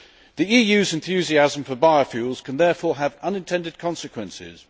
The EU's enthusiasm for biofuels can therefore have unintended consequences.